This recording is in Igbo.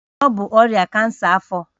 Ọ bụ ọrịa kansa afọ